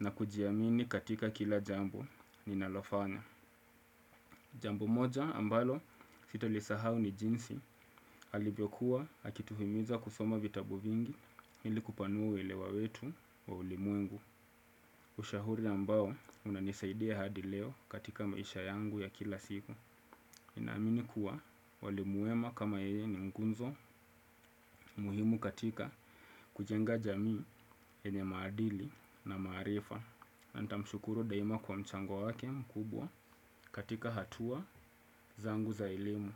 na kujiamini katika kila jambo ninalofanya. Jambu moja ambalo sitalisahau ni jinsi alivyokuwa akituhimiza kusoma vitabu vingi ili kupanua uelewa wetu wa ulimwengu. Ushahuri ambao unanisaidia hadi leo katika maisha yangu ya kila siku. Na amini kuwa walimu wema kama yeye ni ngunzo muhimu katika kujenga jamii yenye maadili na maarifa. Nanita mshukuru daima kwa mchango wake mkubwa katika hatua zangu za elimu.